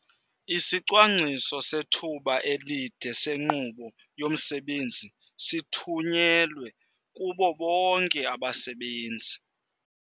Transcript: Isicwangciso sethuba elide senkqubo yomsebenzi sithunyelwe kubo bonke abasebenzi.